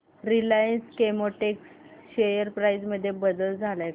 Reliance Chemotex share price मध्ये बदल आलाय का